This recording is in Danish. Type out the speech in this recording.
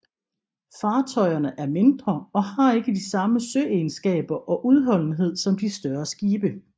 Fartøjerne er mindre og har ikke de samme søegenskaber og udholdenhed som de større skibe